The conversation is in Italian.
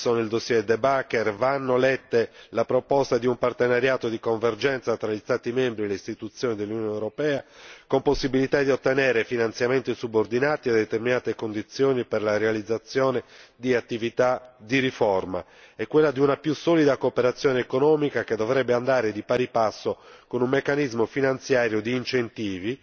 Nel dossier De Backer vanno lette in tal senso la proposta di un partenariato di convergenza tra gli Stati membri e le istituzioni dell'Unione europea, con possibilità di ottenere finanziamenti subordinati a determinate condizioni per la realizzazione di attività di riforma, e la proposta di una più solida cooperazione economica, che dovrebbe andare di pari passo con un meccanismo finanziario di incentivi